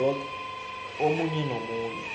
a omunye nomunye